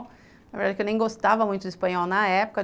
Na verdade, eu nem gostava muito do espanhol na época.